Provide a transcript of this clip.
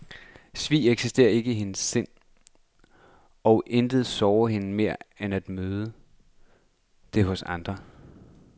Svig eksisterer ikke i hendes sind, og intet sårer hende mere end at møde det hos andre.